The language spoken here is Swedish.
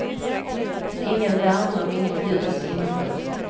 Ingen värme och inget ljus inomhus.